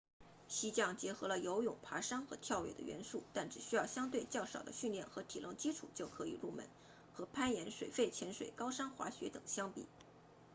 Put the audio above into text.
溪降结合了游泳爬山和跳跃的元素但只需要相对较少的训练和体能基础就可以入门和攀岩水肺潜水高山滑雪等相比